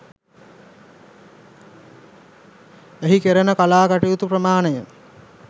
එහි කෙරෙන කලා කටයුතු ප්‍රමාණය